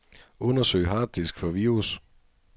Undersøg harddisk for virus.